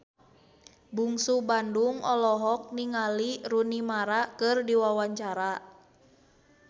Bungsu Bandung olohok ningali Rooney Mara keur diwawancara